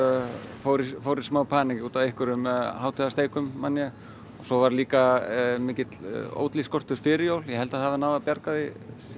fór í fór í smá panikk út af einhverjum man ég svo var líka mikill Oatly skortur fyrir jól ég held þau hafi náð að bjarga því